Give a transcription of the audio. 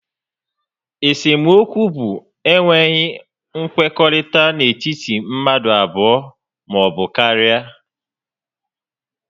Esemokwu bụ enweghị nkwekọrịta n'etiti mmadụ abụọ maọbụ karịa